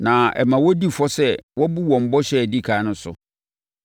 na ɛma wɔdi fɔ sɛ wɔabu wɔn bɔhyɛ a ɛdi ɛkan so.